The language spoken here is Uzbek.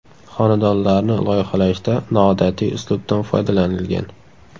Xonadonlarni loyihalashda noodatiy uslubdan foydalanilgan.